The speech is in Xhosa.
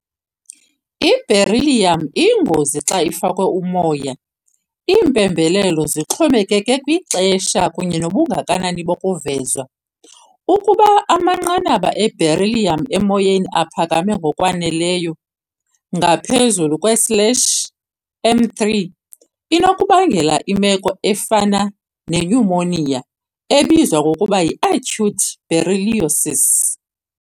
I-Beryllium iyingozi xa ifakwe umoya - iimpembelelo zixhomekeke kwixesha kunye nobungakanani bokuvezwa. Ukuba amanqanaba e-beryllium emoyeni aphakame ngokwaneleyo, ngaphezu kwe-slash m three, inokubangela imeko efana nenyumoniya, ebizwa ngokuba yi-acute berylliosis.